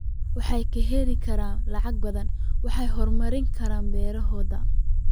Waxay heli karaan lacag badan waxayna horumarin karaan beerahooda.